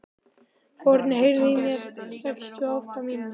Forni, heyrðu í mér eftir sextíu og átta mínútur.